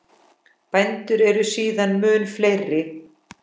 Bændur eru síðan mun fleiri.